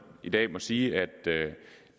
i dag må sige at